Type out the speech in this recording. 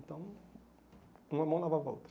Então, uma mão lavava a outra.